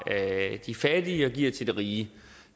de fattige og giver til de rige